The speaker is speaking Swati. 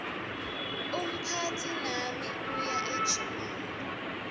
umphatsi nami uya ejimini